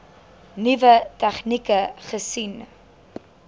nuwe tegnieke gesien